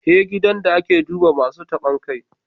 He gidan da a ke duba Masun tabon kai.